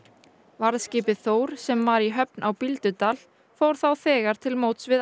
varðskipið Þór sem var í höfn á Bíldudal fór þá þegar til móts við